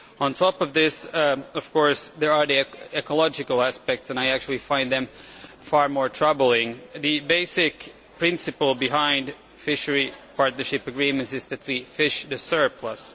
On top of this, of course, there are the ecological aspects and I actually find them far more troubling. The basic principle of fisheries partnership agreements is that we fish the surplus